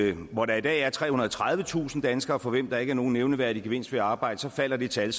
jo at hvor der i dag er trehundrede og tredivetusind danskere for hvem der ikke er nogen nævneværdig gevinst ved at arbejde så falder det tal